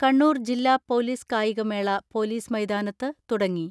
കണ്ണൂർ ജില്ലാ പൊലീസ് കായികമേള പൊലീസ് മൈതാനത്ത് തുടങ്ങി.